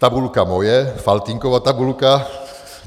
Tabulka moje, Faltýnkova tabulka.